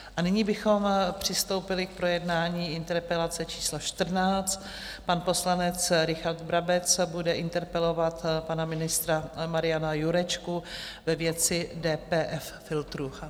A nyní bychom přistoupili k projednání interpelace číslo 14 - pan poslanec Richard Brabec bude interpelovat pana ministra Mariana Jurečku ve věci DPF filtru.